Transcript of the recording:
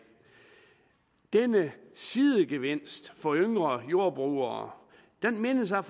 denne sidegevinst for yngre jordbrugere mindes jeg